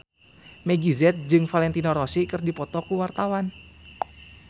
Meggie Z jeung Valentino Rossi keur dipoto ku wartawan